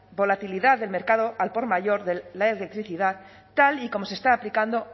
volatilidad del mercado al por mayor de la electricidad tal y como se está aplicando